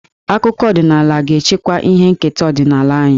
Akụkọ ọdịnaala ga-echekwa ihe nketa ọdịnala anyị.